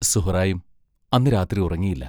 സുഹ്റായും അന്നു രാത്രി ഉറങ്ങിയില്ല.